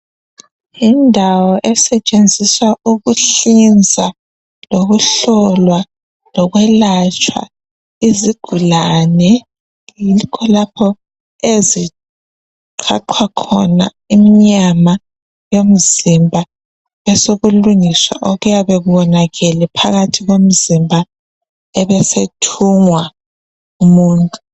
Yindawo esetshenziswa ukuhlinza lokuhlolwa lokwelatshwa izigulane, yikho lapho eziqhaqhwa khona inyama yomzimba besokulungiswa okuyabe konakele phakathi komzimba ebe esethungwa umuntu.